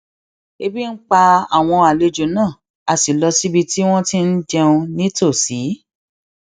ebi ń pa àwọn àlejò náà a sì lọ síbi tí wón ti ń jẹun ní tòsí